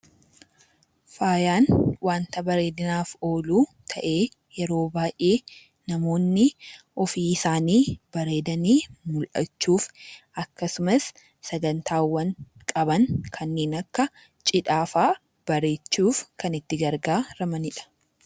Faayaan wanta bareedinaaf oolu ta'ee yeroo baay'ee namoonni ofii isaanii bareedanii mul'achuuf akkasumas sagantaawwan qaban kanneen akka cidhaa fa'aa bareechuuf kan itti gargaaramanidha .